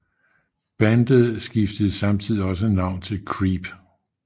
Bandet skiftede samtidigt også navn til Creep